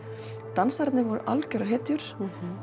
dansararnir voru algjörar hetjur